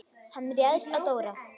Hann réðst á Dóra.